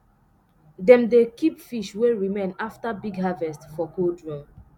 dem dey keep fish wey remain after big harvest for cold room